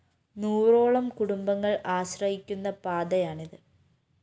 നൂറോളം കുടുംബങ്ങള്‍ ആശ്രയിക്കുന്ന പാതയാണിത്